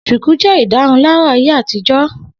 Shùkú jẹ́ ìdárunlárà ayé àtijọ́